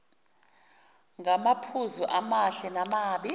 ngamaphuzu amahle namabi